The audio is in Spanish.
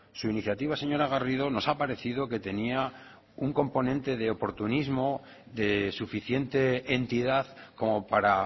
su iniciativa señora garrido nos ha parecido que tenía un componente de oportunismo de suficiente entidad como para